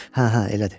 Hə, hə, elədir.